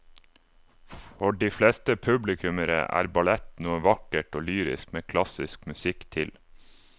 For de fleste publikummere er ballett noe vakkert og lyrisk med klassisk musikk til.